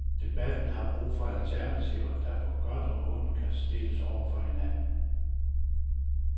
Debatten har brug for alternativer, der på godt og ondt kan stilles over for hinanden.